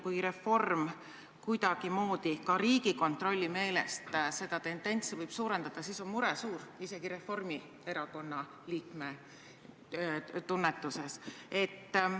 Kui reform võib kuidagimoodi ka Riigikontrolli meelest seda tendentsi suurendada, siis on mure suur, isegi Reformierakonna liikme tunnetuse järgi.